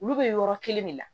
Olu bɛ yɔrɔ kelen de la